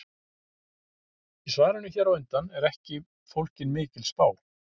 Í svarinu hér á undan er ekki fólgin mikil spá.